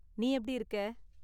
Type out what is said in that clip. நீ எப்படி இருக்க?